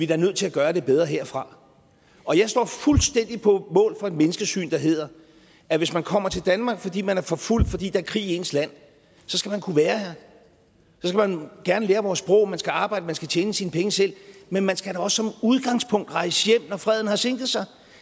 da nødt til at gøre det bedre herfra og jeg står fuldstændig på mål for et menneskesyn der hedder at hvis man kommer til danmark fordi man er forfulgt fordi der er krig i ens land så skal man kunne være her man gerne lære vores sprog man skal arbejde man skal tjene sine penge selv men man skal da også som udgangspunkt rejse hjem når freden har sænket sig